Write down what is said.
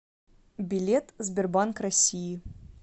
билет сбербанк россии